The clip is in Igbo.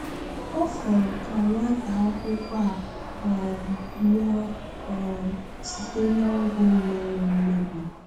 Ọ fọrọ ka nwátaakwụkwọ a um nwụọ um site n’ọgwụ mere mmebi.